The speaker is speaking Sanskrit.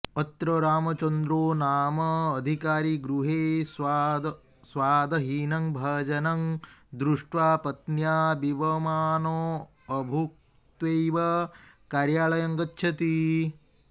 अत्र रामचन्द्रो नाम अधिकारी गृहे स्वादहीनं भोजनं दृष्ट्वा पत्न्या विवमानोऽभुक्त्वैव कार्यालयं गच्छति